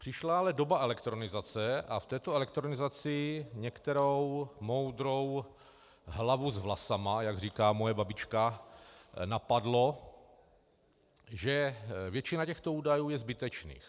Přišla ale doba elektronizace a v této elektronizaci některou moudrou hlavu s vlasama, jak říká moje babička, napadlo, že většina těchto údajů je zbytečná.